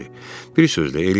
Bir sözlə, eləyibmiş.